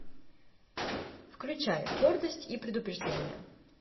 включай гордость и предубеждение